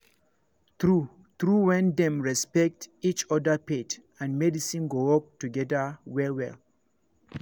true truewhen dem respect each other faith and medicine go work together well well